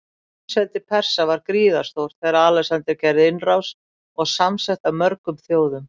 Heimsveldi Persa var gríðarstórt þegar Alexander gerði innrás, og samsett af mörgum þjóðum.